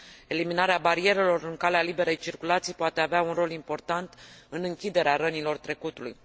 Eliminarea barierelor în calea liberei circulații poate avea un rol important în închiderea rănilor trecutului.